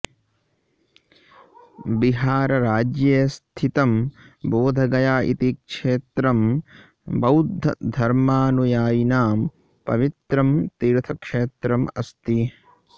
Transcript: बिहारराज्ये स्थितं बोधगया इति क्षेत्रं बौद्धधर्मानुयायिनां पवित्रं तीर्थक्षेत्रम् अस्ति